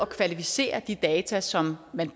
kvalificere de data som man